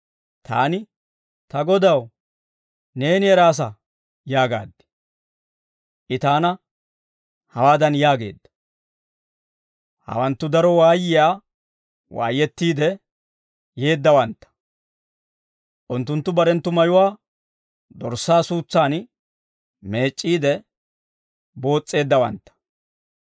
Taani, «Ta Godaw, neeni eraasa» yaagaad. I taana hawaadan yaageedda: «Hawanttu daro waayiyaa waayettiide yeeddawantta. Unttunttu barenttu mayuwaa Dorssaa suutsan meec'c'iide, boos's'eeddawantta.